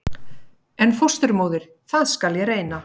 En fósturmóðir- það skal ég reyna.